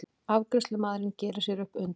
Afgreiðslumaðurinn gerir sér upp undrun.